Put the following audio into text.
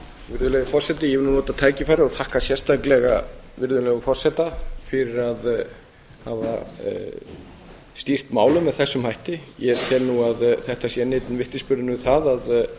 virðulegi forseti ég vil nota tækifærið og þakka sérstaklega virðulegum forseta fyrir að hafa stýrt málum með þessum hætti ég tel þetta enn einn vitnisburðinn um að